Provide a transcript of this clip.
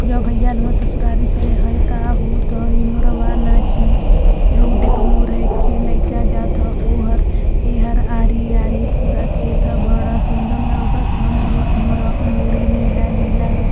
य भईया हव ससुरारी से। हई का ह? भूत ह। इ मोरवा नाची। रोडे पर मोर है। एक्खे लईका जात ह ओहर। एहर आरी आरी पूरा खेत ह। बड़ा सुंदर लगत ह मोरवा। मोरवा क मुड़ी नीला नीला ह।